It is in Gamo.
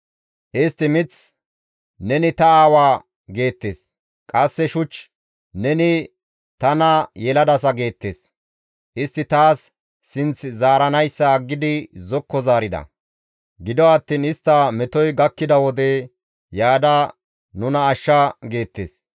Istti mith, ‹Neni ta aawaa› geettes; qasse shuch, ‹Neni tana yeladasa› geettes. Istti taas ba sinth zaaranayssa aggidi zokko zaarida; gido attiin istta metoy gakkida wode, ‹Yaada nuna ashsha› geettes.